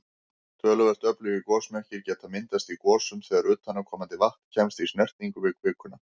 Töluvert öflugir gosmekkir geta myndast í gosum þegar utanaðkomandi vatn kemst í snertingu við kvikuna.